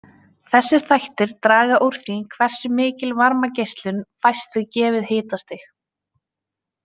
Þessir þættir draga úr því hversu mikil varmageislun fæst við gefið hitastig.